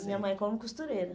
Minha mãe como costureira.